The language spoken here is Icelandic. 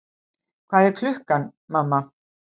Hvað er klukkan, mamma?